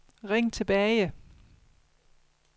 ring tilbage